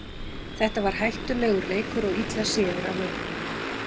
Þetta var hættulegur leikur og illa séður af ökumönnum.